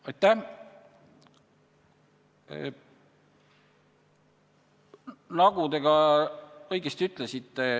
Aitäh!